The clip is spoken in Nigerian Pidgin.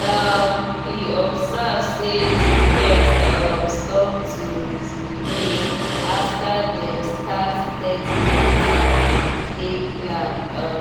um he observe say the pet um stop to misbehave after dem start steady waka and play plan. um